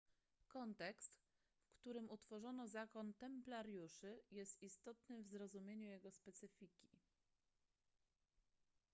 kontekst w którym utworzono zakon templariuszy jest istotny w zrozumieniu jego specyfiki